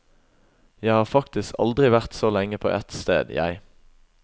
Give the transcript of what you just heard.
Jeg har faktisk aldri vært så lenge på ett sted, jeg.